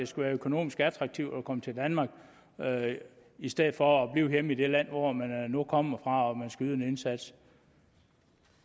skal være økonomisk attraktivt at komme til danmark i stedet for at blive hjemme i det land hvor man nu kommer fra og hvor man skal yde en indsats